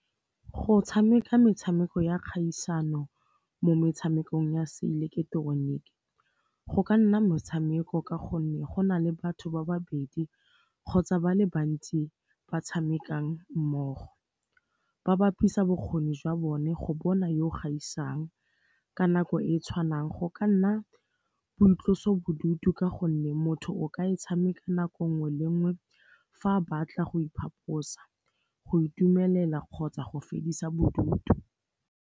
Go tshameka metshameko ya kgaisano mo metshamekong ya se ileketeroniki go ka nna motshameko ka gonne go na le batho ba babedi kgotsa ba le bantsi ba tshamekang mmogo. Ba bapisa bokgoni jwa bone go bona yo o gaisang ka nako e e tshwanang go ka nna boitloso bodutu ka gonne motho o ka e tshameka nako nngwe le nngwe fa a batla go iphaposa, go itumelela kgotsa go fedisa bodutu.